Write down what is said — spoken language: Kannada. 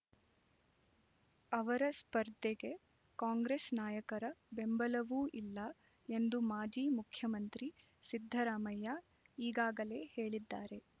ಅವರ ಸ್ಪರ್ಧೆಗೆ ಕಾಂಗ್ರೆಸ್ ನಾಯಕರ ಬೆಂಬಲವೂ ಇಲ್ಲ ಎಂದು ಮಾಜಿ ಮುಖ್ಯಮಂತ್ರಿ ಸಿದ್ಧರಾಮಯ್ಯ ಈಗಾಗಲೇ ಹೇಳಿದ್ದಾರೆ